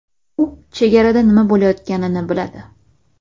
U chegarada nima bo‘layotganini biladi.